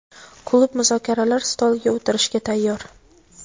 klub muzokaralar stoliga o‘tirishga tayyor.